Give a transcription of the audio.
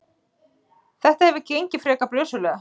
Þetta hefur gengið frekar brösuglega.